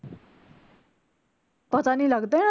ਪਤਾ ਨੀ ਲਗਦਾ